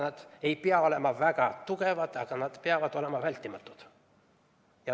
Nad ei pea olema väga tugevad, aga nad peavad olema vältimatud.